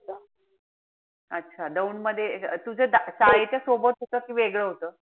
अच्छा दौंड मध्ये, तुझं शाळेच्या सोबतच कि वेगळं होत?